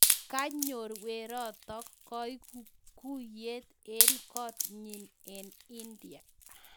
Kanyor werotok kuikuiyet eng koot nyiin eng india